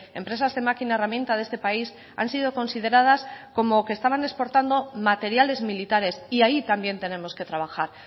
empresas de máquina herramienta de este país han sido consideradas como que estaban exportando materiales militares y ahí también tenemos que trabajar